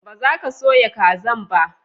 ba za ka soya kazan ba?